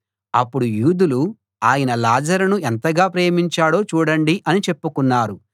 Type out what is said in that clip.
అప్పుడు యూదులు ఆయన లాజరును ఎంతగా ప్రేమించాడో చూడండి అని చెప్పుకున్నారు